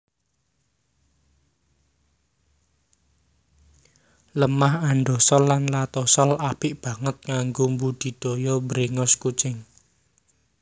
Lemah andosol lan latosol apik banget kanggo mbudidaya bréngos kucing